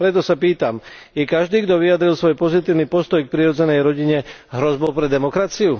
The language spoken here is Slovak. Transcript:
Preto sa pýtam je každý, kto vyjadril svoj pozitívny postoj k prirodzenej rodine hrozbou pre demokraciu?